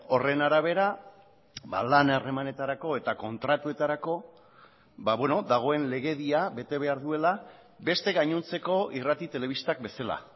horren arabera lan harremanetarako eta kontratuetarako dagoen legedia bete behar duela beste gainontzeko irrati telebistak bezala